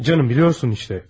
Canım, bilirsən işte.